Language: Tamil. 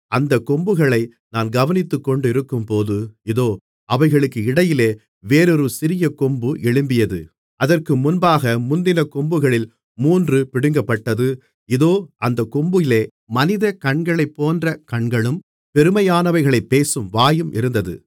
அந்தக் கொம்புகளை நான் கவனித்துக்கொண்டிருக்கும்போது இதோ அவைகளுக்கு இடையிலே வேறொரு சிறிய கொம்பு எழும்பியது அதற்கு முன்பாக முந்தின கொம்புகளில் மூன்று பிடுங்கப்பட்டது இதோ அந்தக் கொம்பிலே மனித கண்களைப்போன்ற கண்களும் பெருமையானவைகளைப் பேசும் வாயும் இருந்தது